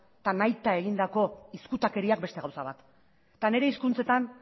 eta nahita egindako izkutakeriak beste gauza bat eta nire hizkuntzetan